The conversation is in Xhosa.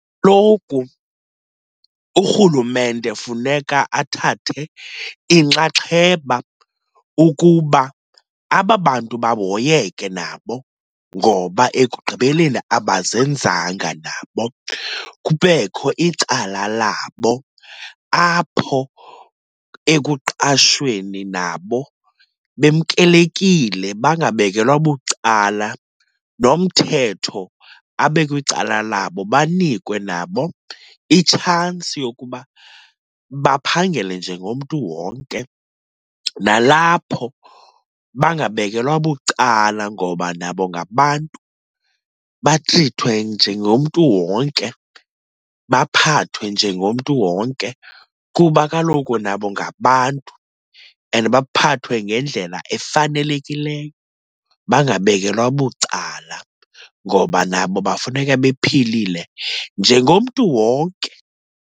Kaloku urhulumente funeka athathe inxaxheba ukuba aba bantu bahoyeke nabo ngoba ekugqibeleni abazenzanga nabo. Kubekho icala labo apho ekuqashweni, nabo bemkelekile bangabekelwa bucala, nomthetho abe kwicala labo banikwe nabo itshansi yokuba baphangele njengomntu wonke. Nalapho bangabekelwa bucala ngoba nabo ngabantu, batrithwe njengomntu wonke, baphathwe njengomntu wonke kuba kaloku nabo ngabantu and baphathwe ngendlela efanelekileyo, bangabekelwa bucala, ngoba nabo bafuneka bephilile njengomntu wonke.